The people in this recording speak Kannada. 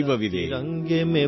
ಗಂಗಾ ಯಮುನಾ ಕೃಷ್ಣಾ ಕಾವೇರಿ